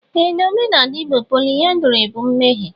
Ee na omenala Igbo, pọlyndrị bụ mmehie.